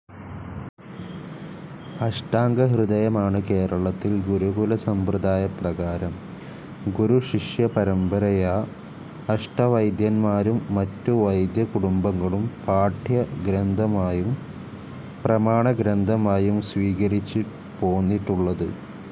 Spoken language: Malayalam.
അഷ്ടാംഗഹൃദയമാണ് കേരളത്തിൽ ഗുരുകുലസമ്പ്രദായപ്രകാരം, ഗുരുശിഷ്യപരമ്പരയാ, അഷ്ടവൈദ്യന്മാരും മറ്റു വൈദ്യകുടുംബങ്ങളും പാഠ്യഗ്രന്ഥമായും പ്രമാണഗ്രന്ഥമായും സ്വീകരിച്ചുപോന്നിട്ടുള്ളത്.